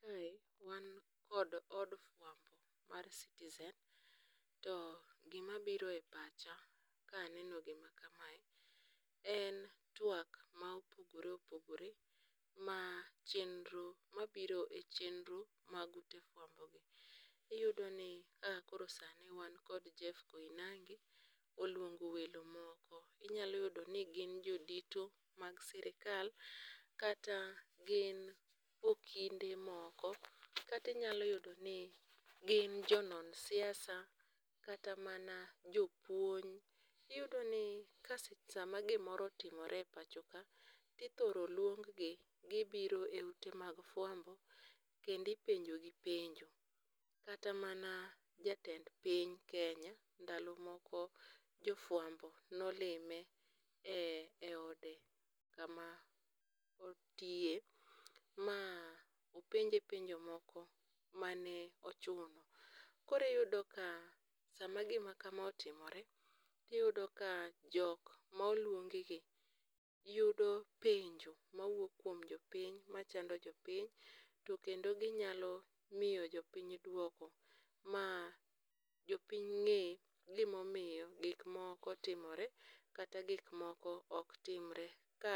Kae wan kod od fuambo mar Citizen to gima biro e pacha ka aneno gima kamae en tuak ma opogore opogore ma chenro mabiro e chenro mag ute fuambo gi. Iyudo ni sani wan kod Jeff Koinange oluongo welo moko. Inyalo yudo ni gin jodito mag sirikal kata gin okinde moko kata inyalo yudo ni gin jo non siasa kata mana jopuonj. Iyudo ni sama gimoro otimore e pachoka , ithoro luong gi gibiro e ute mek fwambo kendo ipenjogi penjo. Kata mana jatend piny Kenya ndalo moko jofuambo ne olime eode kama otiye ma openje penjo m,oko ma ne ochung'. Koro iyudo ka sama gimakama otimore, jiyudo ka jok ma oluongigi yudo penjo mawuok kuom jopiny machando jopiny to kendo ginyalo miyo jopiny duoko ma jopiny ng'e gima omiyo gik moko timore kata gik moko ok timre ka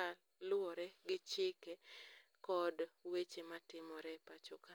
luwore gi chike kod weche matimore e pacho ka.